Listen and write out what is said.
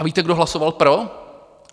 A víte, kdo hlasoval pro?